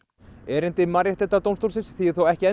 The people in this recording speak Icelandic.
erindi Mannréttindadómstólsins þýðir þó ekki